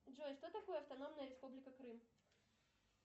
джой что такое автономная республика крым